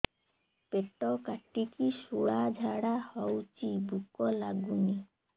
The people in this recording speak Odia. ପେଟ କାଟିକି ଶୂଳା ଝାଡ଼ା ହଉଚି ଭୁକ ଲାଗୁନି